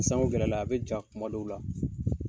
sanko gɛlɛya la a bɛ ja kuma dɔw la.